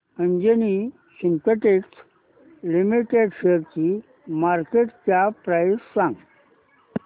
Anjani synthetics limited शेअरची market cap price सांगा